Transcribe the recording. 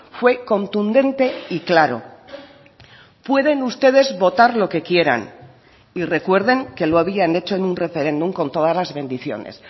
fue contundente y claro pueden ustedes votar lo que quieran y recuerden que lo habían hecho en un referéndum con todas las bendiciones